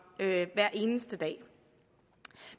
hver eneste dag